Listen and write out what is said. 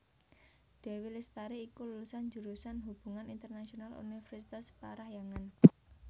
Dewi Lestari iku lulusan jurusan Hubungan Internasional Universitas Parahyangan